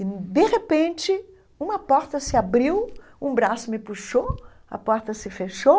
E, de repente, uma porta se abriu, um braço me puxou, a porta se fechou,